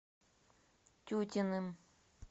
тютиным